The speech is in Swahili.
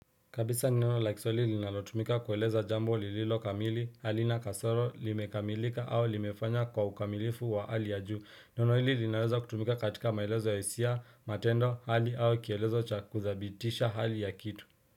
Kabisa neno la kiswahili linalo tumika kueleza jambo lililo kamili halina kasoro limekamilika au limefanya kwa ukamilifu wa hali ya juu neno hili linaweza kutumika katika maelezo ya hisia matendo hali au kielezo chakuzabitisha hali ya kitu.